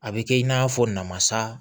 A bɛ kɛ i n'a fɔ namasa